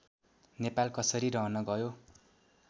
नेपाल कसरी रहनगयो